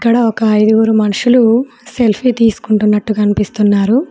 ఇక్కడ ఐదుగురు మనుషులు సెల్ఫీ తీసుకుంటున్నట్టు కనిపిస్తున్నారు.